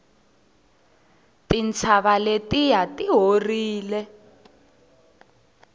tintshava letiya ti horile